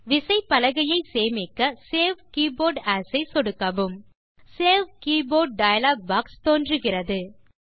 விசைப்பலகையை சேமிக்க save keyboard ஏஎஸ் ஐ சொடுக்கவும் சேவ் கீபோர்ட் - க்டச் டயலாக் பாக்ஸ் தோன்றுகிறது